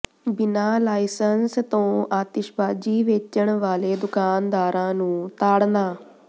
ਬਿਨਾ ਲਾਇਸੰਸ ਤੋਂ ਆਤਿਸ਼ਬਾਜ਼ੀ ਵੇਚਣ ਵਾਲੇ ਦੁਕਾਨਦਾਰਾਂ ਨੂੰ ਤਾੜਨਾ